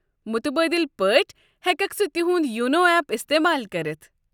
مٗتبٲدِل پٲٹھۍ، ہٮ۪ککھ ژٕ تِیہُند یونو اٮ۪پ استعمال کٔرتھ۔